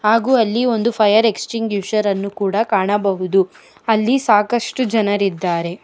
ಹಾಗು ಅಲ್ಲಿ ಒಂದು ಫೈಯರ್ ಎಕ್ಸ್ ತಿಂಗ್ಶರ್ ಅನ್ನು ಕೂಡ ಕಾಣಬಹುದು ಅಲ್ಲಿ ಸಾಕಷ್ಟು ಜನರಿದ್ದಾರೆ.